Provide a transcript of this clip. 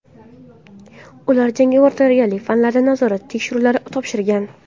Ular jangovar tayyorgarlik fanlaridan nazorat tekshiruvlarini topshirgan.